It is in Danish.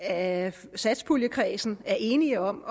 at satspuljekredsen er enige om